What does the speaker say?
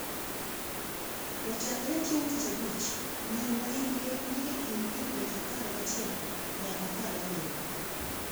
To chakre chieng’ tich abich, nyiri ma hikgi ni e kind higni apar gachiel nyaka apar gabiriyo,